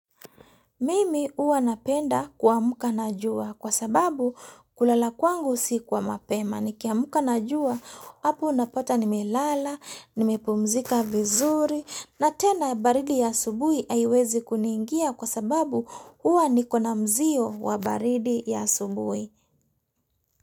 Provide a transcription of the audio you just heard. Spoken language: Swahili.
Mimi huwa napenda kuamka na jua kwa sababu kulala kwangu si kwa mapema. Nikiamka na jua, hapo unapata nimelala, nimepumzika vizuri, na tena baridi ya asubuhi haiwezi kuniingia kwa sababu huwa nikona mzio wa baridi ya asubuhi.